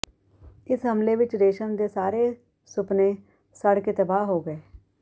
ਇਸ ਹਮਲੇ ਵਿਚ ਰੇਸ਼ਮ ਦੇ ਸਾਰੇ ਸੁਪਨੇ ਸੜ ਕੇ ਤਬਾਹ ਹੋ ਗਏ